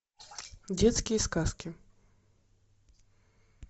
детские сказки